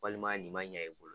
Walima nin ma ɲɛ i bolo